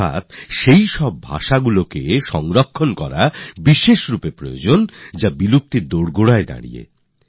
অর্থাৎ এমন ভাষাগুলিকে সংরক্ষণ করার উপর জোর দিয়েছে যেগুলি বিলুপ্ত হওয়ার পথে